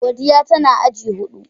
Godiya tana agi hudu.